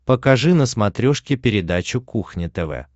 покажи на смотрешке передачу кухня тв